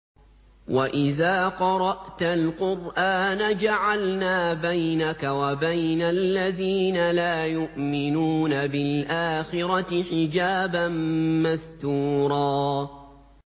وَإِذَا قَرَأْتَ الْقُرْآنَ جَعَلْنَا بَيْنَكَ وَبَيْنَ الَّذِينَ لَا يُؤْمِنُونَ بِالْآخِرَةِ حِجَابًا مَّسْتُورًا